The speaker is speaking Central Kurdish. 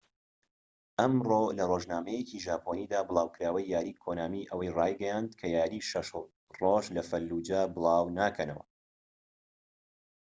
ئەمڕۆ لە رۆژنامەیەکی ژاپۆنیدا بڵاوکەرەوەی یاری کۆنامی ئەوەی ڕایگەیاند کە یاری شەش ڕۆژ لە فەلوجە بڵاو ناکەنەوە